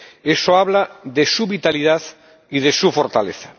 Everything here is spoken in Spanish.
Eso habla de su vitalidad y de su fortaleza.